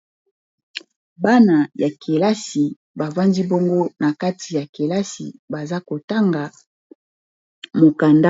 Bana ya kelasi bafandi bongo na kati ya kelasi baza kotanga mokanda.